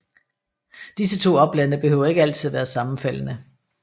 Disse to oplande behøver ikke altid at være sammenfaldende